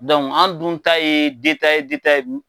an dun ta ye ye